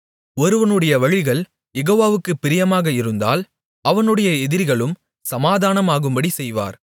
ஒருவனுடைய வழிகள் யெகோவாவுக்குப் பிரியமாக இருந்தால் அவனுடைய எதிரிகளும் சமாதானமாகும்படிச் செய்வார்